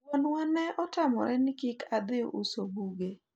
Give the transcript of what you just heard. wuonwa ne otamore ni kik adhi uso buge